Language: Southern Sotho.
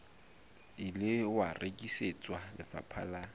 ile wa rekisetswa lefapha la